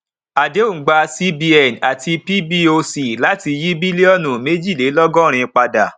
àdéhùn gba cbn àti pboc láti yí bílíọnù méjìlélọgọrin padà